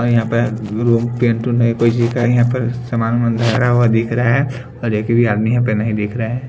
यहां पर रूम पेंटून कोई जी का यहां पर सामान धरा हुआ दिख रहा है और एक भी आदमी यहां पर नहीं दिख रहा है।